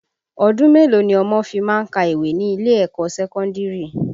Ọdún mélòó ni ọmọ fi má ń ka ìwé ní ilé ẹ̀kọ́ sẹ́kọ́ndìrì?